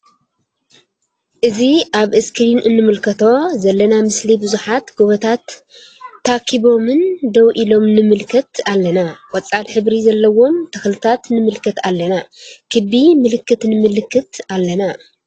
እዚ አብ እስክሪን እንምልከቶ ዘለና ምስሊ ቡዙሓት ጎቦታት ታኪቦን ደው ኢሎም ንምልከት አለና::ቆፃል ሕብሪ ዘለዎም ተክልታት ንምልከት አለና::ክቢ ምልክት ንምልከት አለና::